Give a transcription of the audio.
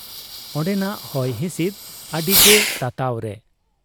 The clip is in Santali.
ᱚᱱᱰᱮᱱᱟᱜ ᱦᱚᱭ ᱦᱤᱥᱤᱫ ᱟᱹᱰᱤᱜᱮ ᱛᱟᱛᱟᱣ ᱨᱮ ᱾